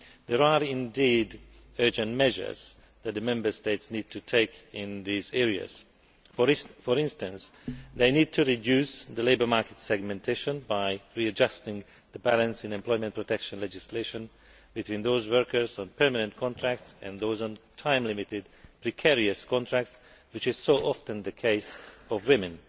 There are indeed urgent measures that the Member States need to take in these areas. For instance, they need to reduce labour market segmentation by readjusting the balance in employment protection legislation between those workers on permanent contracts and those on time limited, precarious contracts which is so often the case for women.